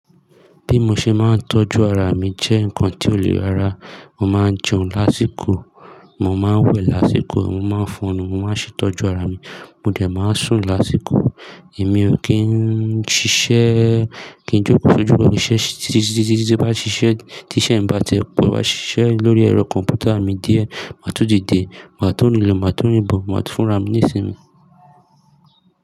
Bí mo ṣe máa ń tọ́jú ara mi jẹ́ nǹkan tó le ara. Mo máa ń jẹun lásìkò, mo máa ń wẹ̀ lásìkò, mo máa ń fọnnu, mo máa ń ṣe ìtọ́jú ara mi, mo dẹ̀ máa ń sùn lásìkò. Èmi o kín ń ṣiṣẹ́, kí n jókòó sójú ìṣe tí bá ṣiṣẹ́ tí iṣẹ́ ń bá tẹpọ̀. Bá sì ṣiṣẹ́ lórí ẹ̀rọ kọ̀m̀pútà mi díẹ̀, màá tó dìde, màá tun rinlo, màá tun ribò, màá tún fun ra mi ní sinmi.